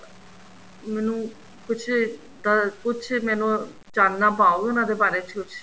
ਮੈਂਨੂੰ ਕੁੱਝ ਅਹ ਕੁੱਝ ਮੈਂਨੂੰ ਚਾਨਣਾ ਪਾਓ ਉਹਨਾ ਦੇ ਬਾਰੇ ਚ ਕੁੱਝ